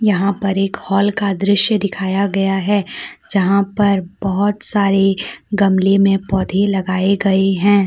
यहां पर एक हॉल का दृश्य दिखाया गया है जहां पर बहोत सारे गमले में पौधे लगाए गए हैं।